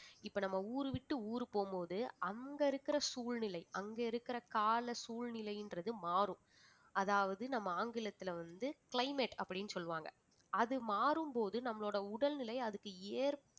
இப்ப நம்ம ஊரு விட்டு ஊர் போகும் போது அங்க இருக்குற சூழ்நிலை அங்க இருக்கிற கால சூழ்நிலைன்றது மாறும் அதாவது நம்ம ஆங்கிலத்துல வந்து climate அப்படின்னு சொல்லுவாங்க அது மாறும்போது நம்மளோட உடல்நிலை அதுக்கு